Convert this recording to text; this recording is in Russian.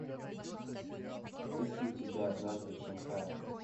есть ли у тебя однажды в шанхае